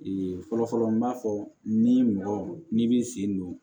fɔlɔfɔlɔ n b'a fɔ ni mɔgɔ n'i b'i sen don